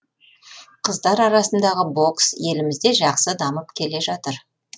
қыздар арасындағы бокс елімізде жақсы дамып келе жатыр